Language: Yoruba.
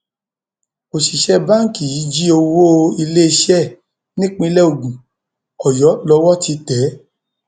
òṣìṣẹ báǹkì yìí jí owó iléeṣẹ ẹ nípínlẹ ogun ọyọ lowó ti tẹ é